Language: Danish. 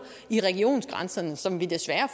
i regionsgrænserne som vi desværre